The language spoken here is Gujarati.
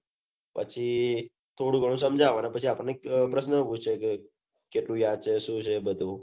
પછી થોડું ઘણું સમજા વે પછી આપડ ને પ્રશ્ન પૂછે છે પછી આતો સુ છે બઘુ